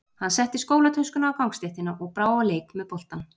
Hann setti skólatöskuna á gangstéttina og brá á leik með boltann.